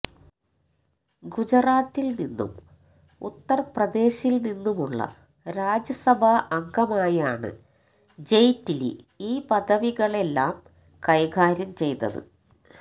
ഗുജറാത്തിൽനിന്നും ഉത്തർപ്രദേശിൽനിന്നുമുള്ള രാജ്യസഭാ അംഗമയാണ് ജെയ്റ്റ്ലി ഈ പദവികളെല്ലാം കൈകര്യം ചെയ്തത്